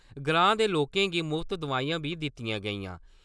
ग्रांऽ दे लोकें गी मुफ्त दवाइयां बी दितियां गेइयां।